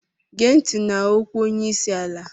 Gee ntị n'okwu onye isi ala!